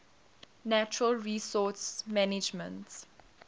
natural resource management